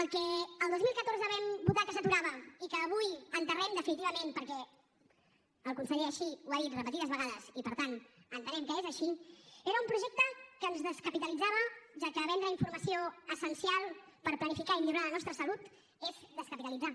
el que el dos mil catorze vam votar que s’aturava i que avui enterrem definitivament perquè el conseller així ho ha dit repetides vegades i per tant entenem que és així era un projecte que ens descapitalitzava ja que vendre informació essencial per planificar i millorar la nostra salut és descapitalitzar